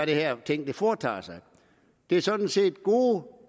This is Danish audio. det her ting foretager sig det er sådan set gode